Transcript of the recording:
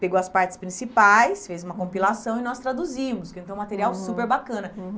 Pegou as partes principais, fez uma compilação e nós traduzimos, que é um material super bacana.